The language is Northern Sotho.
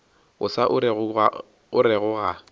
o sa o orego ga